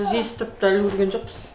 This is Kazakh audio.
жиыстырып та үлгерген жоқпыз